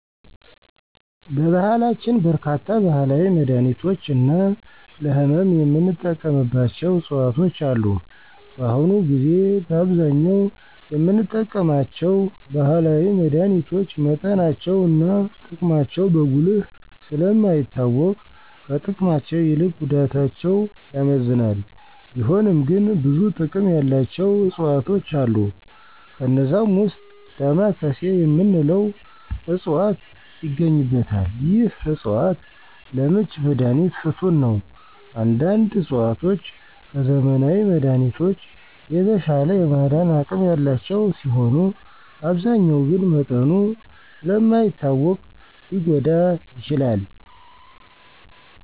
በባህላችን በርካታ ባህላዊ መድሀኒቶች እና ለህመም የምንጠቀምባቸው ዕፅዋቶች አሉ። በአሁኑ ጊዜ በአብዛኛው የምንጠቀማቸው ባህላዊ መድሀኒቶች መጠናቸው እና ጥቅማቸው በጉልህ ስለ ማይታወቅ ከጥቅማቸው ይልቅ ጉዳታቸው ያመዝናል፤ ቢሆንም ግን ብዙ ጥቅም ያላቸው ዕፅዋቶች አሉ። ከነዛም ዉስጥ "ዳማካሴ " የምንለው ዕፅዋት ይገኝበታል። ይህ ዕፅዋት ለምች መድሀኒት ፍቱን ነው። አንዳንድ ዕፅዋቶች ከዘመናዊ መድሀኒቶች የተሻለ የማዳን አቅም ያላቸው ሲሆኑ አብዛኛው ግን መጠኑ ስለ ማይታወቅ ሊጐዳ ይችላል።